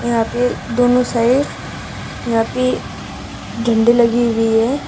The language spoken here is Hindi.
यहां पे दोनों साइड यहां पे झंडी लगी हुई हैं।